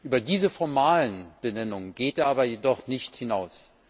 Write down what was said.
Über diese formalen Benennungen geht er jedoch nicht hinaus.